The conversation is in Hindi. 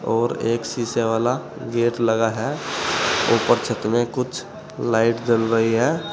और एक शीशे वाला गेट लगा है। ऊपर छत में कुछ लाइट जल रही है।